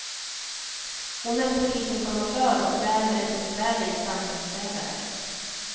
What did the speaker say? Hon är polisinformatör och därmed en besvärlig sanningssägare.